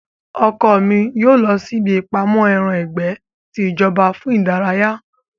Ọkọ mi yóò lọ sí ibí ìpamọ́ ẹran ìgbẹ́ ti ìjọba fún ìdárayá